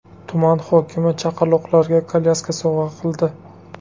Tuman hokimi chaqaloqlarga kolyaska sovg‘a qildi.